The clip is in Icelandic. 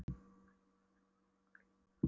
Við seigluðumst þetta áfram en gættum okkar vel.